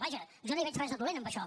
vaja jo no hi veig res de dolent en això